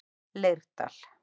Leirdal